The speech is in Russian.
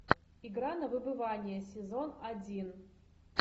игра на выбывание сезон один